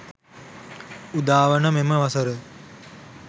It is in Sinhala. උදාවන මෙම වසර